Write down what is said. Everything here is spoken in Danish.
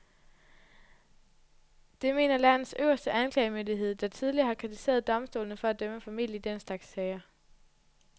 Det mener landets øverste anklagemyndighed, der tidligere har kritiseret domstolene for at dømme for mildt i den slags sager.